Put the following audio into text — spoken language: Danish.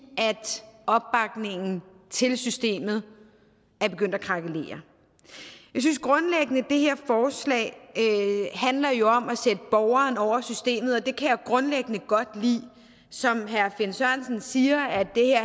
at opbakningen til systemet er begyndt at krakelere det her forslag handler jo om at sætte borgeren over systemet og det kan jeg grundlæggende godt lide som herre finn sørensen siger